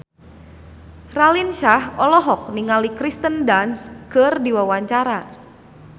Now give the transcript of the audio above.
Raline Shah olohok ningali Kirsten Dunst keur diwawancara